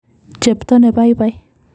Chepto ne paipai.